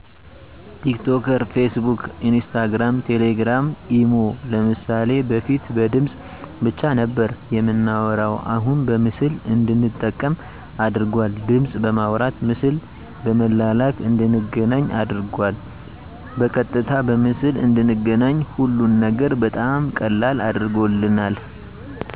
ቲክቶከር ፌስቡክ ኢንስታግራም ቴሌግራም ኢሞ ለምሳሌ በፊት በድምፅ ብቻ ነበር የምናወራሁ አሁን በምስል እንድንጠቀም አድርጓል ድምፅ በማውራት ምስል በመላላክ እንድንገናኝ አድርጎናል በቀጥታ በምስል እንድንገናኝ ሀሉን ነገር በጣም ቀላል አድርጎልናል